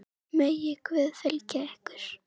Megi Guð fylgja ykkur.